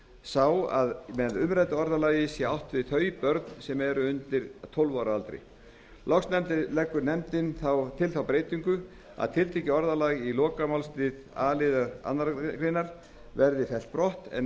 sá að með umræddu orðalagi sé átt við þau börn sem eru undir tólf ára aldri loks leggur nefndin til þá breytingu að tiltekið orðalag í lokamálslið a liðar annarrar greinar verði fellt brott en